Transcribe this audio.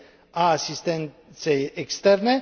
a asistenței externe